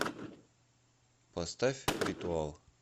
поставь ритуал